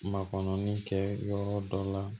Makɔrɔnin kɛ yɔrɔ dɔ la